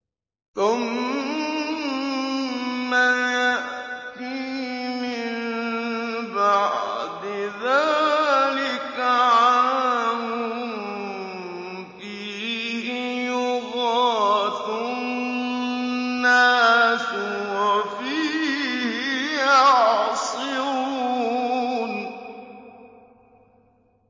ثُمَّ يَأْتِي مِن بَعْدِ ذَٰلِكَ عَامٌ فِيهِ يُغَاثُ النَّاسُ وَفِيهِ يَعْصِرُونَ